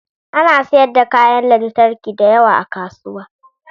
Ana sayar da kayan lantarki da yawa a kasuwa